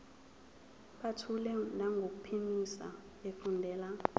buthule nangokuphimisa efundela